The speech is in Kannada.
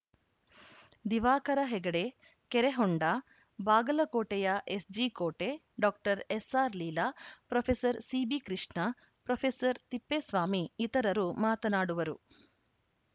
ದಿವಾಕರ ಹೆಗಡೆ ಕೆರೆಹೊಂಡ ಬಾಗಲಕೋಟೆಯ ಎಸ್‌ಜಿಕೋಟೆ ಡಾಕ್ಟರ್ ಎಸ್‌ಆರ್‌ಲೀಲಾ ಪ್ರೊಫೆಸರ್ ಸಿಬಿಕೃಷ್ಣ ಪ್ರೊಫೆಸರ್ ತಿಪ್ಪೇಸ್ವಾಮಿ ಇತರರು ಮಾತನಾಡುವರು